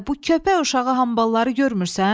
Adə bu köpək uşağı hambalları görmürsən?